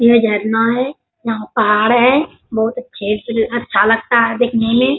ये झरना है यहाँ पहाड़ है बहुत अच्छे से अच्छा लगता है देखने में ।